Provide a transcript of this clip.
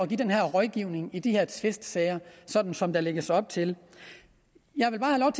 give den her rådgivning i de her tvistsager sådan som der lægges op til jeg vil bare have